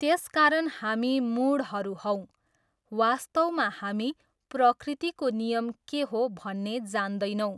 त्यसकारण हामी मूढहरू हौँ, वास्तवमा हामी प्रकृतिको नियम के हो भन्ने जान्दैनौँ।